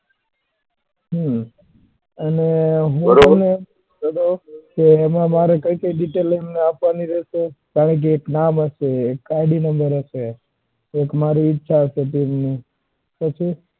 હમ અને એમાં મારે કયી કયી detail તમને આપવાની રેહશે કારણ કે એક નામ હશે એક id number હશે એક ઈચ્છા હશે team ની